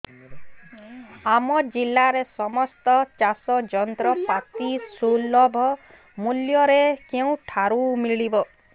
ଆମ ଜିଲ୍ଲାରେ ସମସ୍ତ ଚାଷ ଯନ୍ତ୍ରପାତି ସୁଲଭ ମୁଲ୍ଯରେ କେଉଁଠାରୁ ମିଳିବ